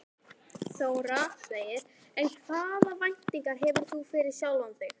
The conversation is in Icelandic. Þóra: En hvaða væntingar hefur þú fyrir sjálfan þig?